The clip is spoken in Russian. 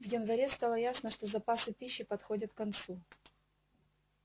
в январе стало ясно что запасы пищи подходят к концу